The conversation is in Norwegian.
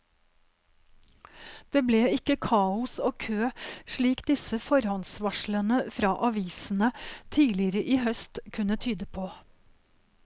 Det ble ikke kaos og kø slik disse forhåndsvarslene fra avisene tidligere i høst kunne tyde på.